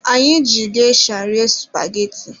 Anyị ji gesha rie supageti.